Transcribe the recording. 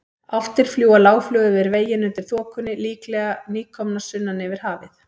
Álftir fljúga lágflug yfir veginn undir þokunni, líklega nýkomnar sunnan yfir hafið.